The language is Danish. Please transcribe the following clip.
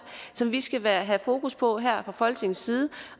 som vi skal have fokus på her fra folketingets side